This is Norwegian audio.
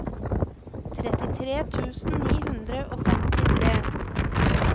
trettitre tusen ni hundre og femtitre